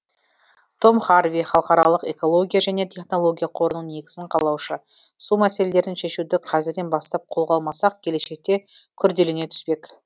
том харви халықаралық экология және технология қорының негізін қалаушы су мәселелерін шешуді қазірден бастап қолға алмасақ келешекте күрделене түспек